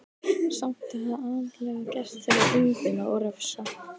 Samt er það aðallega gert til að umbuna og refsa.